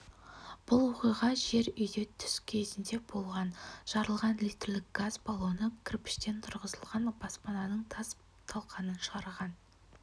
бұл оқиға жер үйде түс кезінде болған жарылған литрлік газ баллоны кірпіштен тұрғызылған баспананың тас-талқанын шығарған